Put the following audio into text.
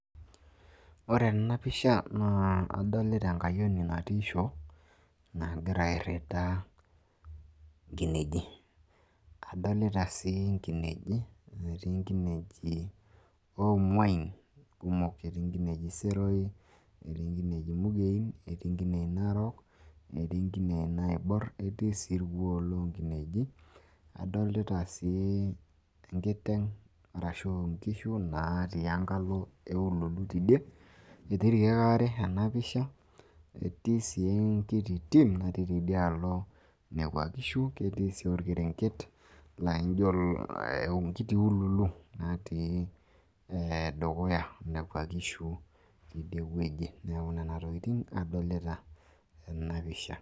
ore ena pisha naa adolita enkayioni natii shoo nagira airita inkineji, etii nkineji oomuai kumok, etii nkinei seroi, nkineei mugein, inarook, netii inaibor. etii sii irkuoo loo nkineji. adolita sii nkishu, natii enkalo eululu teidie, etii sii irkeek odo ena pisha. etii sii enkiti tim natii tidialo kuna kishu, netii sii orkerenket. neeku nena tokitin adolita tena pisha.